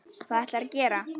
Hvað ætlarðu að gera?